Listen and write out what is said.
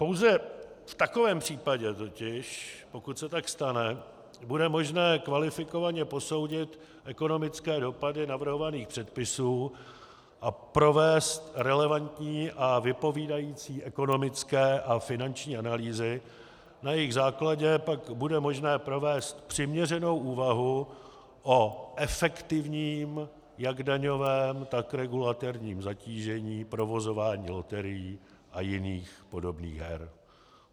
Pouze v takovém případě totiž, pokud se tak stane, bude možné kvalifikovaně posoudit ekonomické dopady navrhovaných předpisů a provést relevantní a vypovídající ekonomické a finanční analýzy, na jejichž základě pak bude možné provést přiměřenou úvahu o efektivním jak daňovém, tak regulatorním zatížení provozování loterií a jiných podobných her.